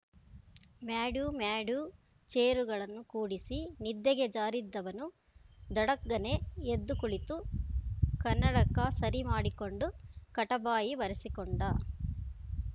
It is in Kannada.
ಮ್ಯಾಢೂ ಮ್ಯಾಢೂ ಚೇರುಗಳನ್ನು ಕೂಡಿಸಿ ನಿದ್ದೆಗೆ ಜಾರಿದ್ದವನು ಧಡಗ್ಗನೆ ಎದ್ದು ಕುಳಿತು ಕನ್ನಡಕ ಸರಿ ಮಾಡಿಕೊಂಡು ಕಟಬಾಯಿ ಒರೆಸಿಕೊಂಡ